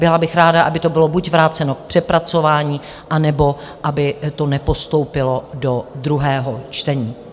Byla bych ráda, aby to bylo buď vráceno k přepracování, anebo aby to nepostoupilo do druhého čtení.